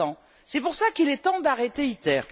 2100. C'est pour cela qu'il est temps d'arrêter ITER.